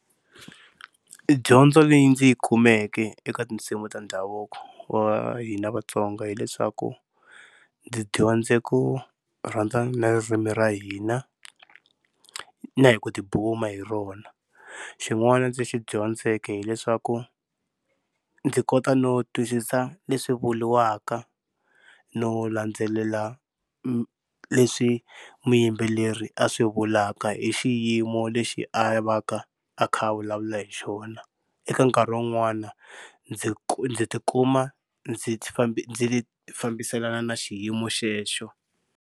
Dyondzo leyi ndzi yi kumeke eka tinsimu ta ndhavuko wa hina Vatsonga, hileswaku ndzi dyondze ku rhandza na ririmi ra hina na hi ku tibuma hi rona. Xin'wana ndzi xi dyondzeke hileswaku ndzi kota no twisisa leswi vuriwaka no landzelela leswi muyimbeleri a swi vulaka hi xiyimo lexi a vaka a kha a vulavula hi xona. Eka nkarhi wun'wana ndzi ndzi tikuma ndzi ndzi fambiselana na xiyimo xexo.